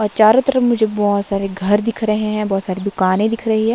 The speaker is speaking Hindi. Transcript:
और चारों तरफ मुझे बहोत सारे घर दिख रहे हैं बहोत सारी दुकानें दिख रही है।